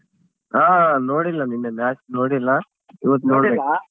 ಹಾ ನೋಡಿಲ್ಲ ನೆನ್ನೆ match ನೋಡಿಲ್ಲ ಇವತ್ತ್ ನೋಡ್ಬೇಕು .